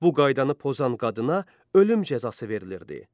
Bu qaydanı pozan qadına ölüm cəzası verilirdi.